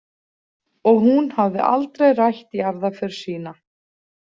Og hún hafði aldrei rætt jarðarför sína.